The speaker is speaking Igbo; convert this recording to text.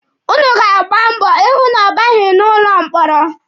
Ụnụ ga-agba mbọ ịhụ na ọ baghị n'ụlọ mkpọrọ.